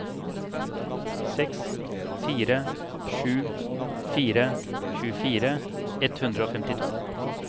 seks fire sju fire tjuefire ett hundre og femtito